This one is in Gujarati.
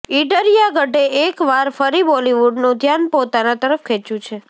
ઈડરિયા ગઢે એક વાર ફરી બોલીવુડનું ધ્યાન પોતાના તરફ ખેંચ્યું છે